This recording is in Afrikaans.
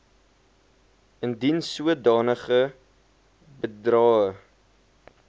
indien sodanige bedrae